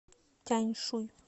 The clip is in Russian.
тяньшуй